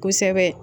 Kosɛbɛ